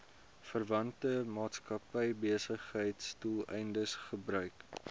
verwante maatskappybesigheidsdoeleindes gebruik